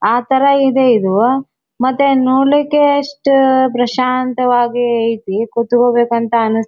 ಅಥರ ಇದೆ ಇದು ಮತ್ತೆ ನೋಡ್ಲಿಕ್ಕೆ ಎಷ್ಟು ಪ್ರಶಾಂತ ವಾಗಿ ಐತಿ ಕುತ್ಕೋಬೇಕು ಅಂತ ಅನ್ಸ್--